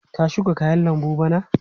Ka shuka kayan lambu bana?